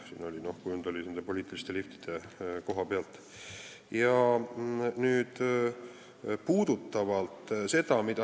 Siin oli kujund poliitiliste "liftide" kohta.